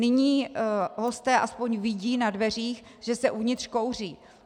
Nyní hosté aspoň vidí na dveřích, že se uvnitř kouří.